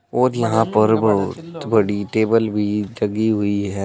और यहां पर बहुत बड़ी टेबल भी लगी हुई है।